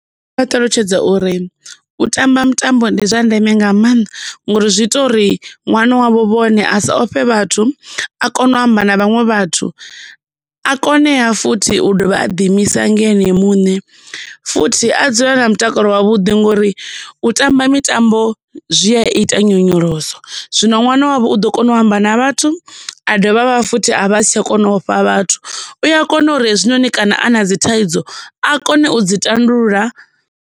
Ndi nga vha ṱalutshedza uri u tamba mutambo ndi zwa ndeme nga maanḓa ngori zwi ita uri ṅwana wavho vhone a sa ofhe vhathu a kone u amba na vhaṅwe vhathu a kone ha futhi u dovha a ḓi imisa nga ene muṋe futhi a dzule a na mutakalo wavhuḓi ngori u tamba mitambo zwi a ita nyonyoloso. Zwino ṅwana wavho u ḓo kona u amba na vhathu a dovha futhi a vha a si tsha kona ofha vhathu u a kona uri hezwi noni kana a na dzi thaidzo a kone u dzi tandulula.